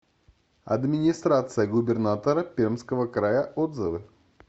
администрация губернатора пермского края отзывы